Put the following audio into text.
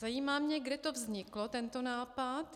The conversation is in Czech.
Zajímá mě, kde to vzniklo, tento nápad.